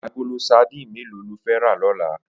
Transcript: Agóló sàdín méló ló fè rà lòlá?